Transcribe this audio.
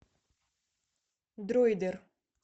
дроидер